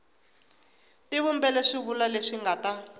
tivumbela swivulwa leswi nga ta